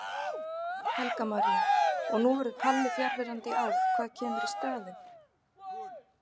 Helga María: Og nú verður Palli fjarverandi í ár, hvað kemur í staðinn?